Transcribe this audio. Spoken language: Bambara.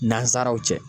Nansaraw cɛ